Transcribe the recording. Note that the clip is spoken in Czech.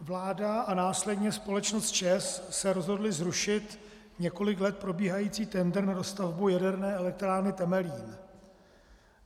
Vláda a následně společnost ČEZ se rozhodly zrušit několik let probíhají tendr na dostavbu Jaderné elektrárny Temelín.